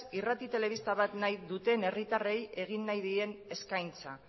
irrati telebista bat nahi duten herritarrei egin nahi dien eskaintza